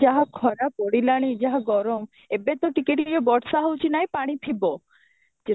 ଯାହା ଖରା ପଡିଲାନି ଯାହା ଗରମ ଏବେ ତ ଟିକେ ଟିକେ ବର୍ଷା ହେଉଛି ନା ପାଣି ଥିବ ଯେ